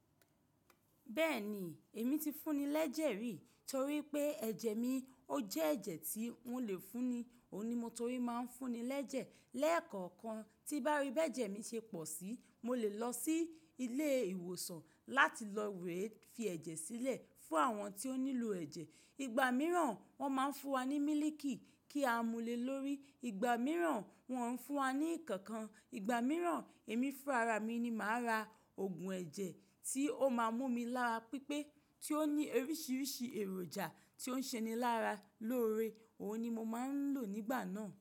Bẹ́ẹ̀ni, èmi ti fúnni l'ẹ́jẹ̀ rí torí pé ẹ̀jẹ̀ mi ó jẹ́ ẹ̀jẹ̀ tí wọ́n lè fúnni, òun ni mo torí máa ń fúnni lẹ́jẹ̀. Lẹ́ẹ̀kọ̀kan tí bá rí b'ẹ́jẹ̀ mi ṣe pọ̀ síi, mo lè lọ sí ilé ìwòsàn láti lọ rèé fi ẹ̀jẹ̀ sílẹ̀ fún àwọn tí ó nílò ẹ̀jẹ̀. Ìgbà mìíràn wọ́n máa ń fún wa ní mílíìkì kí a múle lórí, ìgbà mìíràn wọ́n ń fún wa ní nǹkan kan, ìgbà mìíràn èmi fún ara mi ni màá ra oògùn ẹ̀jẹ̀ tí ó máa mú mi lára pípé tí ó ní oríṣiríṣi èròjà tí ó ń ṣe ni lára lóore, òun ni mo máa ń lò nígbà náà.